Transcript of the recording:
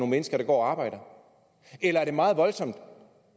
mennesker der går og arbejder eller er det meget voldsomt